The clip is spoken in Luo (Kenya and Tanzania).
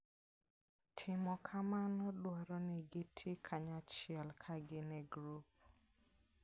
Timo kamano dwaro ni giti kanyachiel ka gin e grup.